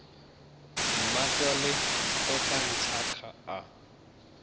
mmatswale o tla nthaka a